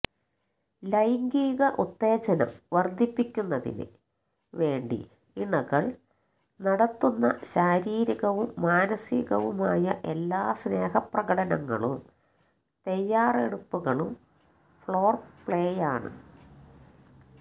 ലൈംഗിക ഉത്തേജനം വര്ധിപ്പിക്കുന്നതിന് വേണ്ടി ഇണകള് നടത്തുന്ന ശാരീരികവും മാനസികവുമായ എല്ലാ സ്നേഹപ്രകടനങ്ങളും തയ്യാറെടുപ്പുകളും ഫോര്പ്ലേയാണ്